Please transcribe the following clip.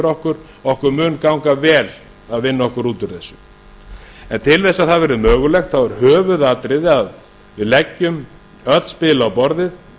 okkur okkur mun ganga vel að vinna okkur út úr þessu en til þess að það verði mögulegt þá er höfuðatriði að við leggjum öll spil á borðið